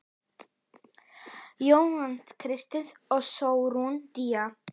Jóna Kristín og Sólrún Día.